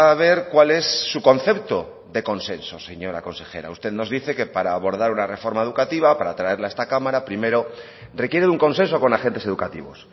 ver cuál es su concepto de consenso señora consejera usted nos dice que para abordar una reforma educativa para traerla a esta cámara primero requiere un consenso con agentes educativos